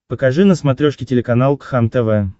покажи на смотрешке телеканал кхлм тв